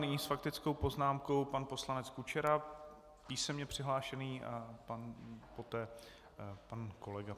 Nyní s faktickou poznámkou pan poslanec Kučera, písemně přihlášený, a poté pan kolega.